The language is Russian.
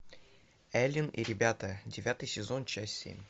элен и ребята девятый сезон часть семь